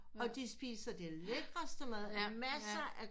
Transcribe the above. Og de spiser det lækreste mad med masser af